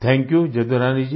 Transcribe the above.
thank you Jadurani ji